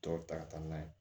Tɔw ta ka taa n'a ye